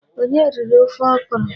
Onye riri ofe ọkrọ?